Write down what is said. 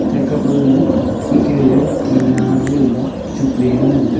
theka paga eke gaga tina jegaga chukley ley ngan taga.